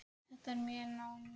Þetta er mjög náin vinna.